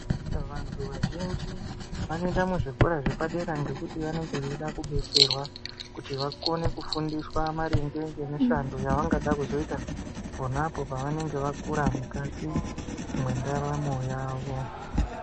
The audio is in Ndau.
Vantu vazhinji vonoenda kuzvikora zvepadera ngekuti vanonga veida kudetserawa kuti vakone kufundiswa maringe nemishando yavangada kuzoita ponapo pavanenge vakura mukati mwendaramo yavo.